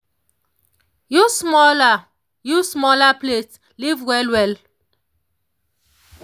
use smaller use smaller plates live well well.